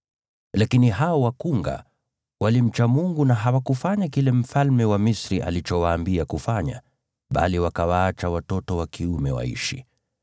Lakini hao wakunga walimcha Mungu na hawakufanya kile mfalme wa Misri alichowaambia kufanya, bali wakawaacha watoto wa kiume waishi.